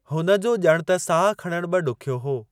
हुन जो ॼणु त साहु खणणु बि ॾुखियो हो।